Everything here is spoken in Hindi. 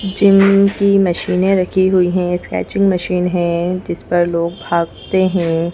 जिम की मशीने रखी हुई है स्ट्रेचिंग मशीन है जिस पर लोग भागते हैं।